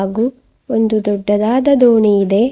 ಹಾಗು ಒಂದು ದೊಡ್ಡದಾದ ದೋಣಿ ಇದೆ.